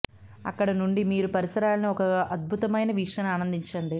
అక్కడ నుండి మీరు పరిసరాలను ఒక అద్భుతమైన వీక్షణ ఆనందించండి